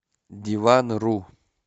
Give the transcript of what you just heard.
диванру